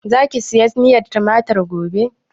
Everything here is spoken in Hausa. Za ki saya miyar tumatir gobe?